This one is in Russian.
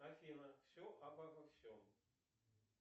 афина все обо всем